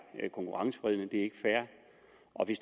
ikke fair